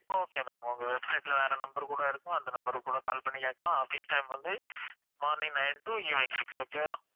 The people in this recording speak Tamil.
okay ma'am அவங்க website ல வேற number கூட இருக்கும் அந்த number க்கு கூட call பண்ணி கேட்கலாம் office time வந்து morning nine to evening six okay வா